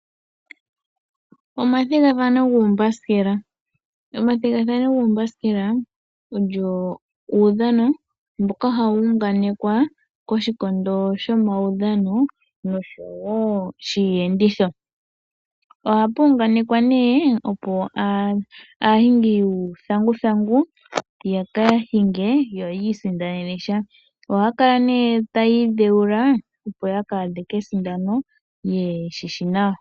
Omathigathano guumbasikela olyo uudhano mboka hau unganekwa koshikondo shomaudhano noshowo shiiyenditho. Ohapu unganekwa nduno, opo aahingi yuuthanguthangu ya ka hinge yo yi isindanene sha. Ohaya kala nduno taya idheula, opo ya ka thike kesindano ye shi shi nawa.